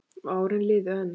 Og árin liðu enn.